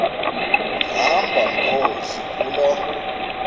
hamba mkhozi kuloo